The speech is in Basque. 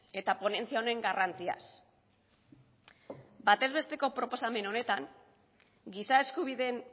eta ponentzia honen garrantziaz batez besteko proposamen honetan giza eskubideen